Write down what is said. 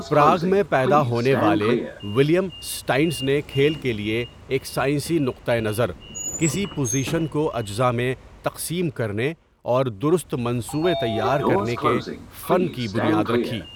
Prague میں پیدا ہونے والے ولہیلم اسٹائنٹز نے کھیل کے لیے ایک سائنسی نقطہ نظر، کسی پوزیشن کو اجزاء میں تقسیم کرنے اور درست منصوبے تیار کرنے کے فن کی بنیاد رکھی۔